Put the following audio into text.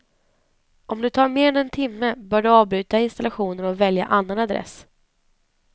Om det tar mer än en timme bör du avbryta installationen och välja annan adress.